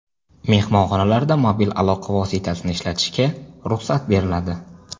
Mehmonxonalarda mobil aloqa vositasini ishlatishga ruxsat beriladi .